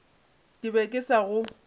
ke be ke sa go